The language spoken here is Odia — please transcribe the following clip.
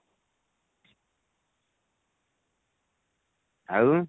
ଆଉ